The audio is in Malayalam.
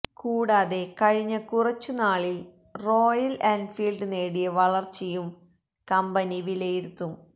കൂടാതെ കഴിഞ്ഞ കുറച്ചു നാളില് റോയല് എന്ഫീല്ഡ് നേടിയ വളര്ച്ചയും കമ്പനി വിലയിരുത്തും